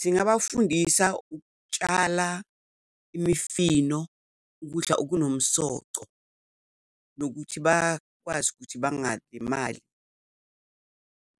Singabafundisa ukutshala imifino, ukudla okunomsoco, nokuthi bakwazi ukuthi bangalimali